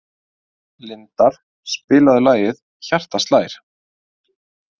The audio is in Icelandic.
Lindar, spilaðu lagið „Hjartað slær“.